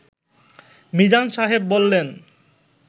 মিজান সাহেব বললেন